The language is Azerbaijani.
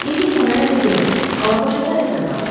İndi isə mənə de görüm, Alabaşa tərəfdə qaldı.